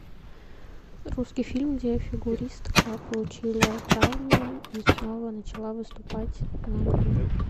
русский фильм где фигуристка получила травму и снова начала выступать на льду